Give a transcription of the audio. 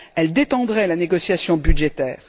Elle détendrait la négociation budgétaire.